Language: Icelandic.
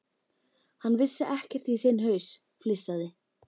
Hann vissi ekkert í sinn haus, flissaði